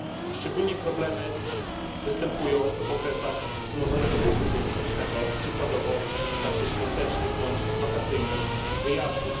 Szczególne problemy występują w okresach wzmożonego ruchu turystycznego, przykładowo w czasie świątecznych bądź wakacyjnych wyjazdów.